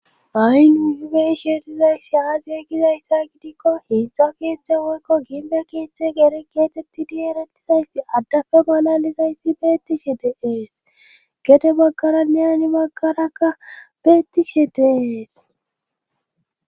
ha,i nu ihibe iishe dizayssi aaziye gizayssa gidikko hiidzdza kiitztdze woykko ginbe kiitzte gere geetetti di erettizayssi addafe balalizayssi beettishe deees gede baggara neyani baggarakka beettishe deees